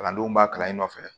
Kalandenw b'a kalan in nɔfɛ